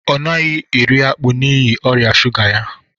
Ọ dighi eri akpụ n'ịhi ọria sụga ya.